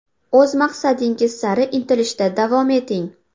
O‘z maqsadingiz sari intilishda davom eting.